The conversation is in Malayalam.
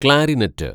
ക്ലാരിനെറ്റ്